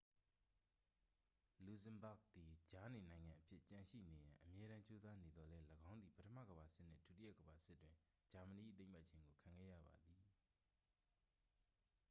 လူဇင်ဘာ့ဂ်သည် ကြားနေနိုင်ငံအဖြစ်ကျန်ရှိနေရန် အမြဲတမ်းကြိုးစားနေသော်လည်း ၎င်းသည် ပထမကမ္ဘာစစ်နှင့် ဒုတိယကမ္ဘာစစ်တွင် ဂျာမနီ၏သိမ်းပိုက်ခြင်းကို ခံခဲ့ရပါသည်